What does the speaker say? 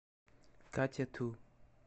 катя ту